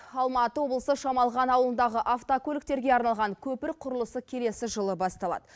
алматы облысы шамалған ауылындағы автокөліктерге арналған көпір құрылысы келесі жылы басталады